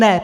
Ne.